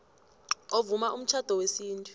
ovuma umtjhado wesintu